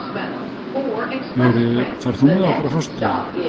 Jóríður, ferð þú með okkur á föstudaginn?